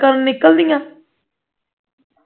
ਕਰਨ ਨਿਕਲਦੀਆਂ